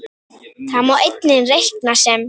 Það má einnig reikna sem